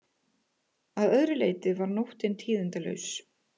Að öðru leyti var nóttin tíðindalaus